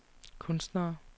kunstnere